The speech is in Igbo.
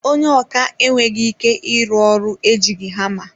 Ònye ọkà enweghị ike ịrụ ọrụ ejighi hama.